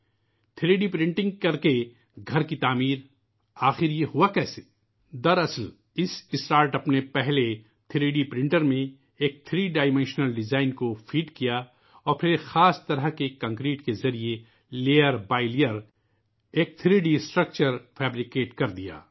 3 D printing کرکے گھر کی تعمیر ، آخر یہ ہوا کیسے ؟ دراصل اِس اسٹارٹ اَپ نے سب سے پہلے 3 ڈی پرنٹر میں ایک تین پہلو والے ڈیزائن کو فیڈ کیا اور پھر ایک خاص طرح کی کنکریٹ کے ذریعے پرت دَر پرت ایک تھری ڈی ڈھانچہ تیار کر دیا